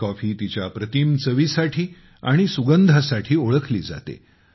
ही coffee तिच्या अप्रतिम चवी साठी आणि सुगंधासाठी ओळखली जाते